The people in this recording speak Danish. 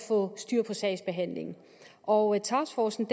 få styr på sagsbehandlingen og taskforcen